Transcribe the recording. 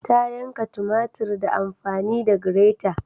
Ta yanka tumatir ta amfani da grata